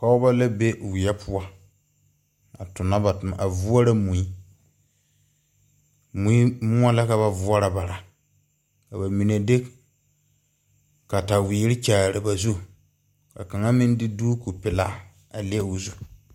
Pɔgba la be weɛ puo a tuna ba tuma a vourɔ mui. Mui mou la ka ba vouro bara ka ba menne de kawiiri kyaare ba zuri ka kanga meng de duuku pelaa a le ɔ zu.